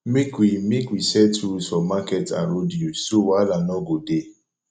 make we make we set rules for market and road use so wahala no go dey